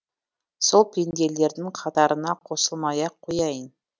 сол пенделердің қатарына қосылмай ақ қояйын